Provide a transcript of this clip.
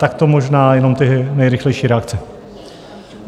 Tak to možná jenom ty nejrychlejší reakce.